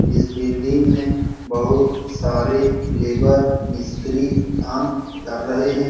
इस बिल्डिंग में बहोत सारे लेबर मिस्त्री काम कर रहे हैं।